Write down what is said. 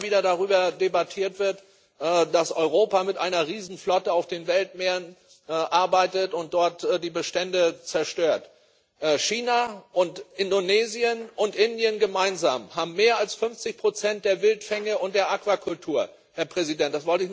Aber weil immer wieder darüber debattiert wird, dass Europa mit einer Riesenflotte auf den Weltmeeren arbeitet und dort die Bestände zerstört China und Indonesien und Indien gemeinsam haben mehr als 50 der Wildfänge und der Aquakultur, Herr Präsident!